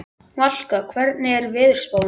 Valka, hvernig er veðurspáin?